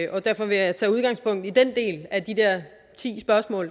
og derfor vil jeg tage udgangspunkt i den del af de